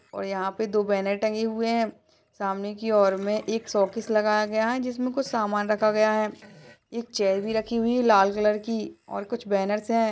और यहाँ पर दो बैनर टंगे हुए हैं सामने की ओर में एक शोकेस लगाया गया है जिसमें कुछ सामान रखा गया है एक चेयर भी रखी हुई है लाल कलर की और कुछ बेनर्स हैं |